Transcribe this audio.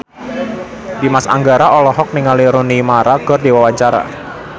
Dimas Anggara olohok ningali Rooney Mara keur diwawancara